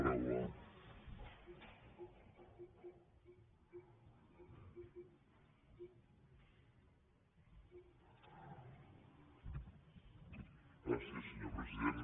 gràcies senyor president